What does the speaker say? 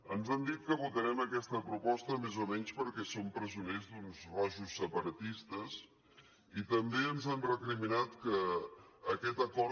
ens han dit que votarem aquesta proposta més o menys perquè som presoners d’uns rojos separatistes i també ens han recriminat que aquest acord